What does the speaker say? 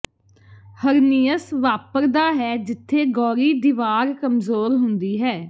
ਹਰਨੀਅਸ ਵਾਪਰਦਾ ਹੈ ਜਿੱਥੇ ਗੌਰੀ ਦੀਵਾਰ ਕਮਜ਼ੋਰ ਹੁੰਦੀ ਹੈ